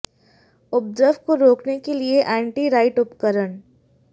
उपद्रव को रोकने के लिए एंटी राइट उपकरण